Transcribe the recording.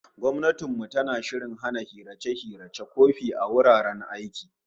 Gwamnatin mu tana shirin hana hirace-hiracen wofi a wuraren aiki